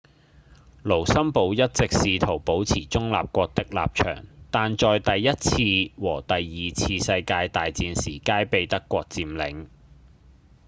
盧森堡一直試圖保持中立國的立場但在第一次和第二次世界大戰時皆被德國佔領